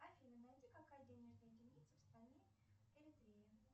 афина найди какая денежная единица в стране эритрея